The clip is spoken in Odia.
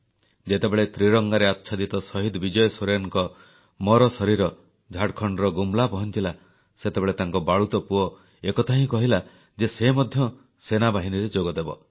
ଯେତେବେଳେ ତ୍ରିରଙ୍ଗାରେ ଆଚ୍ଛାଦିତ ଶହୀଦ ବିଜୟ ସୋରେନଙ୍କ ମରଶରୀର ଝାଡ଼ଖଣ୍ଡର ଗୁମ୍ଲା ପହଂଚିଲା ସେତେବେଳେ ତାଙ୍କ ବାଳୁତ ପୁଅ ଏକଥା ହିଁ କହିଲା ଯେ ସେ ମଧ୍ୟ ସେନାବାହିନୀରେ ଯୋଗଦେବ